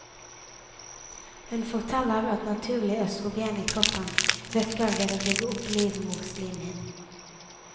Hun forteller at naturlig østrogen i kroppen virker ved å bygge opp livmorslimhinnen.